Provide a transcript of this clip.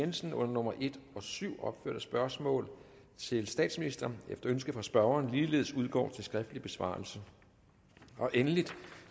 jensen under nummer en og syv opførte spørgsmål til statsministeren efter ønske fra spørgeren ligeledes udgår til skriftlig besvarelse endelig